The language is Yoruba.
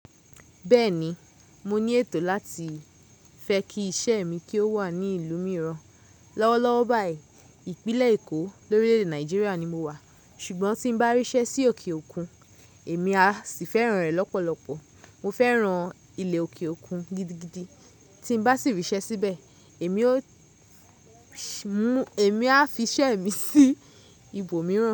Bẹ́ẹ̀ni, mo ní ètò láti fẹ́ kí iṣẹ́ mi kí ó wà ní ìlú mìíràn. Lọ́wọ́lọ́wọ́ báyìí, ìpínlẹ̀ Èkó, lórílẹ̀ ede Nàìjíríà ni mo wà, ṣùgbọ́n tí n bá ríṣẹ́ sí òkè òkun, èmi á sì fẹ́ràn rẹ̀ lọ́pọ̀lọpọ̀. Mo fẹ́ran ilẹ̀ òkè òkun gidigidi, tí n bá sì ríṣẹ́ síbẹ̀, èmi ó sì mú, èmi á fi iṣẹ́ mi sí ibòmíràn.